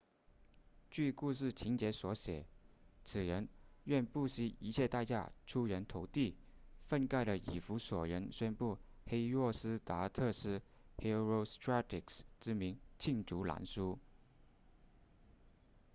据故事情节所写此人愿不惜一切代价出人头地愤慨的以弗所人宣布黑若斯达特斯 herostratus 之名罄竹难书